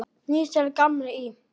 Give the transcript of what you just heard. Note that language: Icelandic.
Níels gamli í